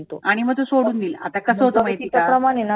आणि मग तो सोडून देईल कस होतं माहिती का?